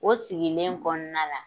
O sigilen kɔnɔna la